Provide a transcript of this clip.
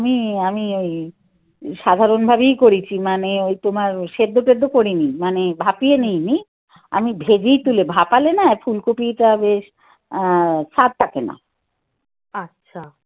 না আমি এমনি ওই সাধারণভাবেই করেছি মানে ওই তোমার সেদ্ধ টেদ্ধ করিনি. মানে ভাপিয়ে নিই নি. আমি ভেজেই তুলে ভাপলে না ফুলকপিটা বেশ আ স্বাদ থাকে না.